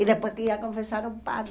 E depois tinha confessar ao padre.